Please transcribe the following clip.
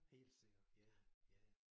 Helt sikkert ja ja ja ja